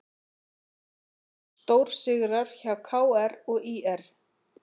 Stórsigrar hjá KR og ÍR